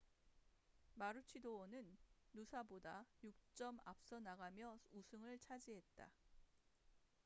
마루치도어는 누사보다 6점 앞서나가며 우승을 차지했다